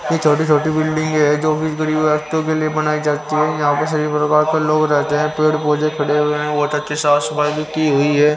यह छोटी-छोटी बिल्डिंग है जो गरीबव्यक्ति के लिए बनाई जाती है यहां पे सभी प्रकार के लोग रहते हैं पेड़-पौजे खड़े हुए हैं बहुत अच्छे साफ-सफाई भी की हुई है.